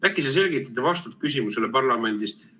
Äkki sa selgitad ja vastad küsimusele parlamendis?